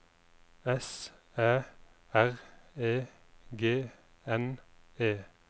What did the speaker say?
S Æ R E G N E